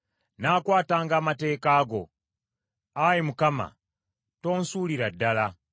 Nnaakwatanga amateeka go; Ayi Mukama , tonsuulira ddala.